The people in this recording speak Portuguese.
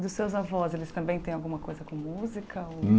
E dos seus avós, eles também têm alguma coisa com música ou?